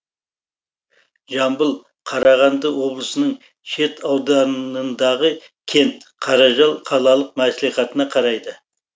жамбыл қарағанды облысының шет ауданындағы кент қаражал қалалық мәслихатына қарайды